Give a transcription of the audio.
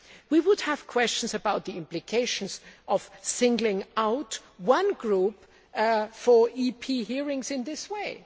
We would have questions about the implications of singling out one group for EP hearings in this way.